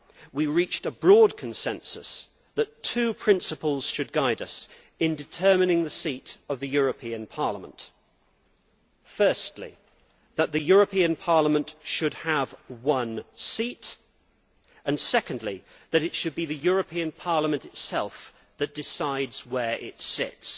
We reached a broad consensus that two principles should guide us in determining the seat of the European Parliament firstly, the European Parliament should have one seat and, secondly, it should be the European Parliament itself that decides where it sits.